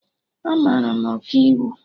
Amara m Ọkaiwu